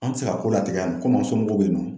An mi se ka ko latigɛ yan nɔ komi somɔgɔw be yen nɔ